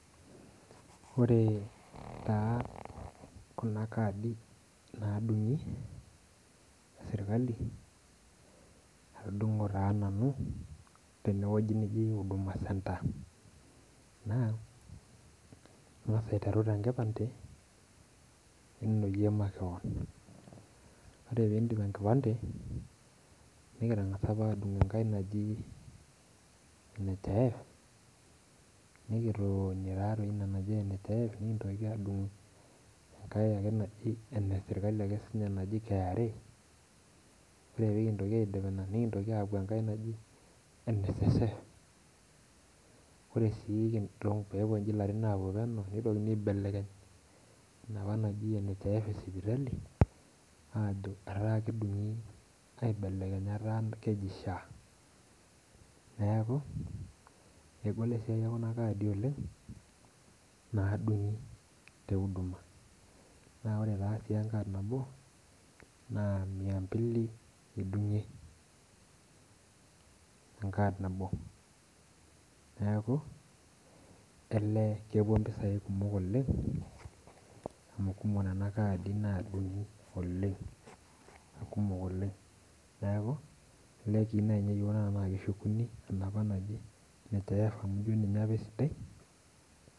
Ore taa kunabkaadi nadungi eserkali atudungo taa nanu tende wueji naji huduma centre, ingasa aiterunye enkipande ore pindip ebkipande nikitangasa apa ake adungu nhif mikintoki adung enkae ake eneserkm naji kra pin ore pekintoki aidip ina nikitoki apuo enkae naji nssf ore ake pepuo lirin otulusoitie nikintoki adungu enaapa najibnhif esipitali naji sha, neaku egol enasia oleng naaduo tekunaolongi ore su enkas nabo na miambili idungie neaku elee kepuo mpisai kumok oleng amu ketii nkadi kumok nadungi neakubtanaa keshukuni enaapa naji nhif amu ninye apa esidai